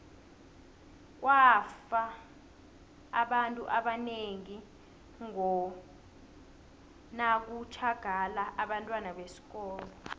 kwafa abantu abanengi ngo nakutjhagala abentwana besikolo